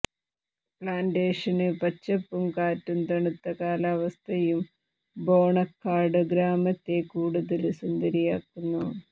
plantation പച്ചപ്പും കാറ്റും തണുത്ത കാലാവസ്ഥയും ബോണക്കാട് ഗ്രാമത്തെ കൂടുതല് സുന്ദരിയാക്കുന്നു